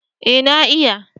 Ee na iya.